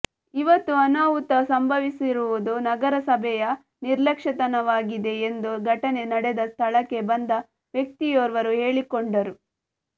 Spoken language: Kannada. ಇವತ್ತು ಅನಾಹುತ ಸಂಭವಿಸಿರುವುದು ನಗರಸಭೆಯ ನಿರ್ಲಕ್ಷ್ಯತನವಾಗಿದೆ ಎಂದು ಘಟನೆ ನಡೆದ ಸ್ಥಳಕ್ಕೆ ಬಂದ ವ್ಯಕ್ತಿಯೋರ್ವರು ಹೇಳಿಕೊಂಡರು